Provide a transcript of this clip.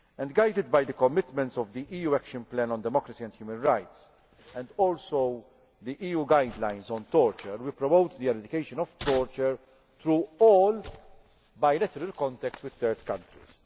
Guided by the commitments of the EU Action Plan on Democracy and Human Rights and also the EU Guidelines on Torture, we promote the eradication of torture through all bilateral contacts with third countries.